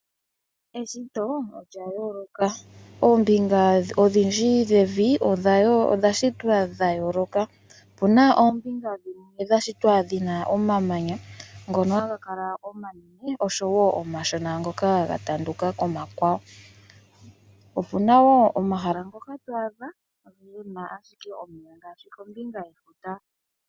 Eshito olya yooloka. Oombinga odhindji dhevi odha shitwa dha yooloka . Opu na oombinga dhimwe dha shitwa dhina omamanya ngono ha ga kala omanene osho woo omashona ngoka ga tanduka komakwawo. Opu na woo omahala ngoka twaadha kuna ashike omeya, ngaashi kombinga yefuta.